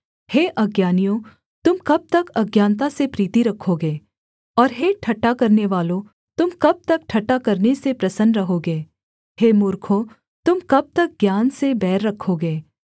हे अज्ञानियों तुम कब तक अज्ञानता से प्रीति रखोगे और हे ठट्टा करनेवालों तुम कब तक ठट्ठा करने से प्रसन्न रहोगे हे मूर्खों तुम कब तक ज्ञान से बैर रखोगे